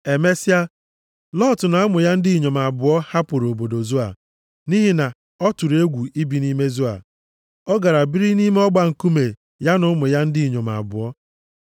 Emesịa, Lọt na ụmụ ya ndị inyom abụọ hapụrụ obodo Zoa, nʼihi na ọ tụrụ egwu ibi nʼime Zoa. Ọ gara biri nʼime ọgba nkume ya na ụmụ ya ndị inyom abụọ.